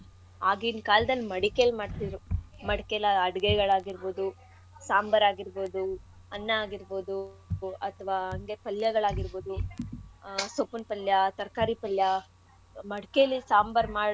ಆಗಿನ ಕಾಲದಲ್ ಮಡಿಕೇಲಿ ಮಾಡ್ತಿದ್ರು. ಮಡಕೆಲಿ ಅಡ್ಗೆಗಳಾಗಿರ್ಬೋದು, ಸಾಂಬಾರ್ ಆಗಿರ್ಬೋದು, ಅನ್ನ ಆಗಿರ್ಬೋದು ಅಥವಾ ಅಂಗೆ ಪಲ್ಯಗಳ್ ಆಗಿರ್ಬೋದು ಆಹ್ ಸೊಪ್ಪಿನ ಪಲ್ಯ, ತರಕಾರಿ ಪಲ್ಯ ಮಡಕೆಲಿ ಸಾಂಬಾರ್ ಮಾಡಿದ್.